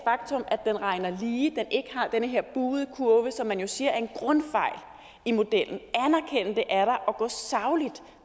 den regner lige at den ikke har den her buede kurve som man jo siger er en grundfejl i modellen og gå sagligt